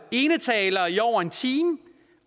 enetaler i over en time